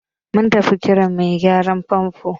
Mun tafi Kiran mai gyaran fanfo.